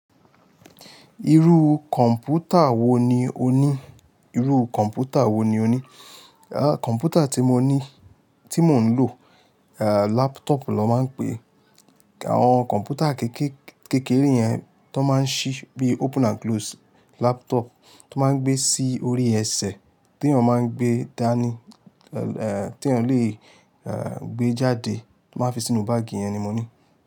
Irú kọ̀mpútà wo ni o ní? Irú kọ̀mpútà wo ni o ní? Kọ̀mpútà tí mo ní, tí mo ń lò laptop ló ń máa ń pè àwọn kọ̀mpútà kékeré yẹn tó máa ń ṣí bí open and close, laptop tó máa ń gbé sí orí ẹsẹ̀, tí èèyàn máa ń gbé dání, tí èèyàn lè gbé jáde, tó máa fi sínú báàgì yẹn ni mo ní.